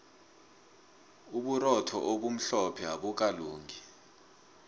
uburotho obumhlophe abukalungi